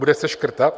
Bude se škrtat?